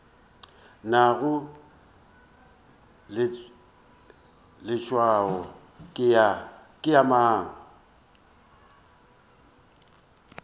nago leswao ke ya mang